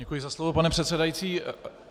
Děkuji za slovo, pane předsedající.